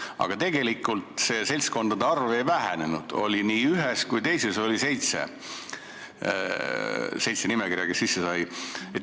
Aga tegelikult seltskondade arv ei vähenenud, nii ühes kui ka teises oli seitse nimekirja, kes sisse said.